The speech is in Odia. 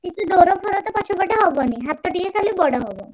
କିଛି ଡୋର ଫୋର ତ ପଛ ପଟେ ହବନି ହାତ ଟିକେ ଖାଲି ବଡ ହବ।